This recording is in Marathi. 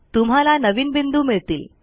तुम्हाला नवीन बिंदू मिळतील